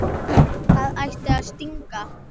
Það ætti að stinga.